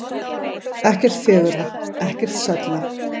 Ekkert fegurra, ekkert sælla.